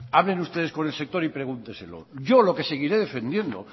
hablen ustedes con el sector y pregúnteselo yo lo que seguiré defendiendo